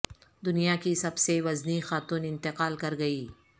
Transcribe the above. دنیا کی سب سے وزنی خاتون انتقال کر گئیں